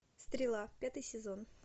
стрела пятый сезон